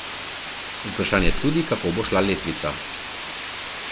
Vprašanje tudi, kako bo šla letvica.